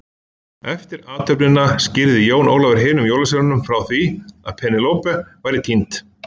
Eftir athöfnina skýrði Jón Ólafur hinum jólasveinunum frá því að Penélope væri týnd.